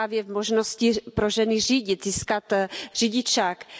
právě v možnosti pro ženy řídit, získat řidičský průkaz.